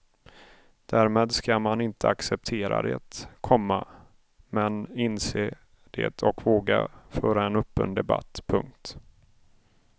Därmed ska man inte acceptera det, komma men inse det och våga föra en öppen debatt. punkt